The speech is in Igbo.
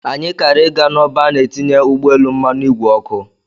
Anyị kara ị ga n'ọba a na-etinye ụgbọelu mmanụ ìgwè oku.